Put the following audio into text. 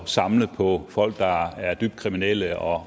samle på folk der er dybt kriminelle og